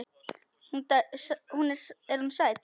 Er hún sæt?